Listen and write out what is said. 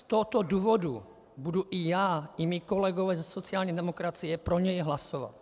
Z tohoto důvodu budu i já i mí kolegové ze sociální demokracie pro něj hlasovat.